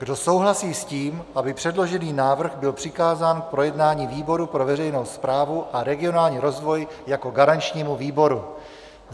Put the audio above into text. Kdo souhlasí s tím, aby předložený návrh byl přikázán k projednání výboru pro veřejnou správu a regionální rozvoj jako garančnímu výboru?